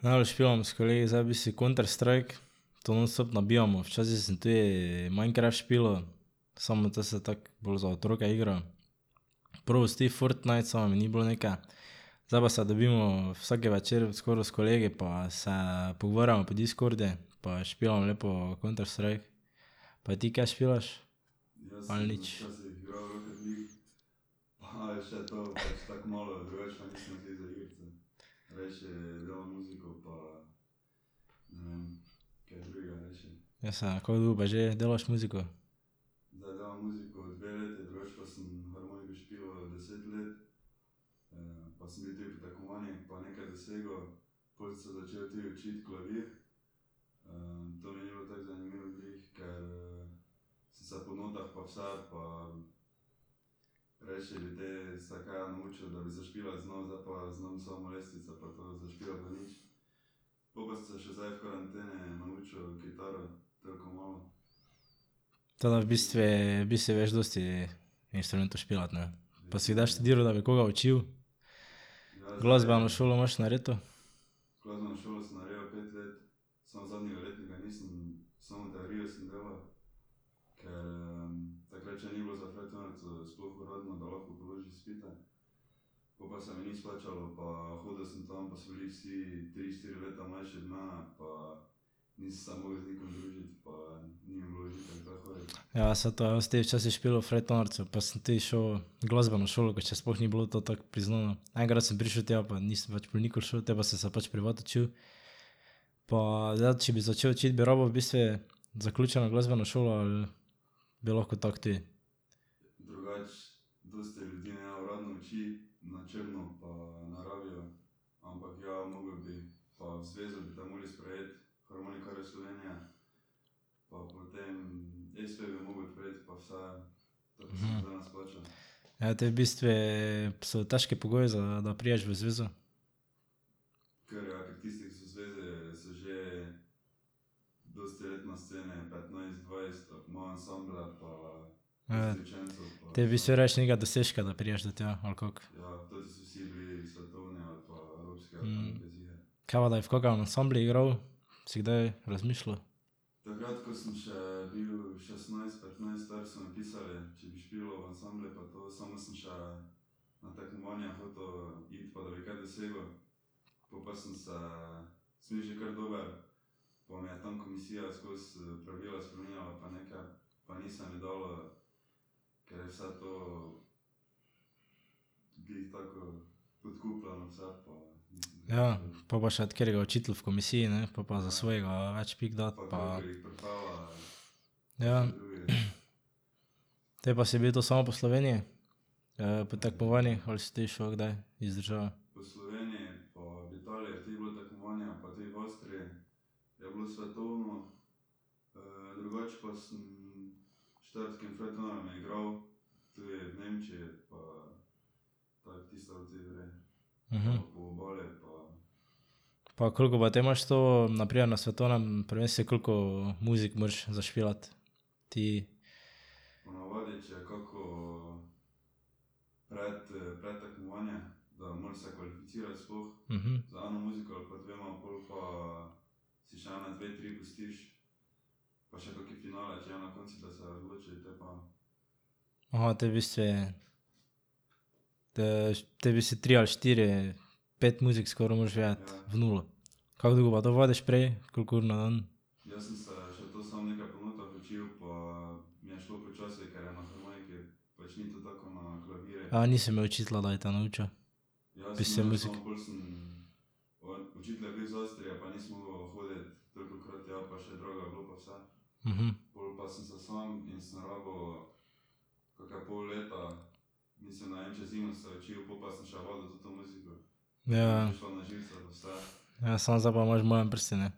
Najraje špilamo s kolegi zdaj v bistvu Counter-Strike, to nonstop nabijamo, včasih sem tudi Minecraft špilal. Samo to se tako bolj za otroke igra. Probal si ti Fortnite, samo mi ni bilo neke, zdaj pa se dobimo vsak večer skoraj s kolegi pa se pogovarjamo po Discordu pa špilamo lepo Counter-Strike. Pa ti kaj špilaš? Ali nič? Ja, saj, kako dolgo pa že delaš muziko? Tako da v bistvu, v bistvu veš dosti instrumentov špilati, ne? Pa si kdaj študiral, da bi koga učil? Glasbeno šolo imaš narejeno? Ja, saj to, jaz sem tudi včasih špilal frajtonarico pa sem tudi šel glasbeno šolo, ko še sploh ni bilo to tako priznano. Enkrat sem prišel tja pa nisem več pol nikoli šel, te pa sem se pač privat učil. Pa zdaj če bi začel učiti, bi rabil v bistvu zaključeno glasbeno šolo ali? Bi lahko tako tudi? Ja, to je v bistvu so težki pogoji za, da prideš v zvezo? Ja, te v bistvu rabiš nekega dosežka, da prideš do tja, ali kako? Kaj pa da bi v kakem ansamblu igral? Si kdaj razmišljal? Ja. Pol pa še od katerega učitelj v komisiji, ne, po pa za svojega več pik da pa ... Ja. Te pa si bil to samo po Sloveniji? po tekmovanjih. Ali si tudi šel kdaj iz države? Mhm. Pa koliko pa te imaš to, na primer na svetovnem prvenstvu, koliko muzik moraš zašpilati? Ti? Mhm. Aha, te v bistvu te v bistvu tri ali štiri pet muzik skoraj moraš vedeti v nulo. Kako dolgo pa to vadiš prej? Koliko ur na dan? nisi imel učitelja, da bi te naučil? Ja, ja. Ja, samo zdaj pa imaš v malem prstu, ne.